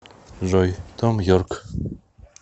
джой том йорк